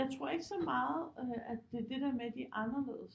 Jeg tror ikke så meget at det er det der med at de er anderledes